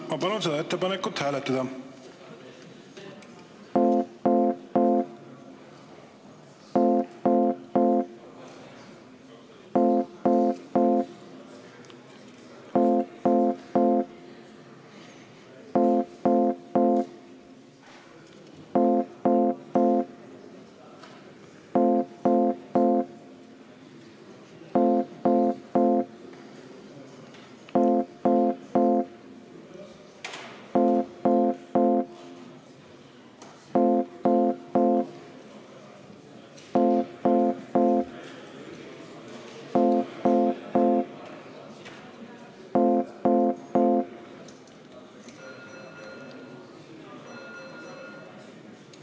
Ma palun seda ettepanekut hääletada!